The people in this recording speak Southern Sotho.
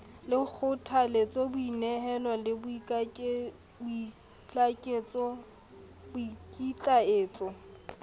le kgothalletse boinehelo le boikitlaetso